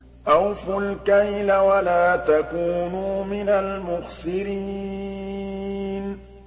۞ أَوْفُوا الْكَيْلَ وَلَا تَكُونُوا مِنَ الْمُخْسِرِينَ